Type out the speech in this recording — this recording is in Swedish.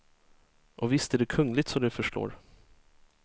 Och visst är det kungligt så det förslår.